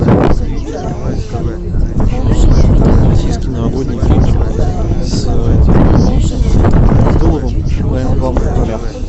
российский новогодний фильм с абдуловым в главных ролях